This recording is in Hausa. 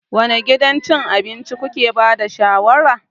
Wane gidan cin abinci kuke ba da shawarar?